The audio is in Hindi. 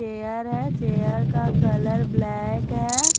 चेयर है चेयर का कलर ब्लैक है।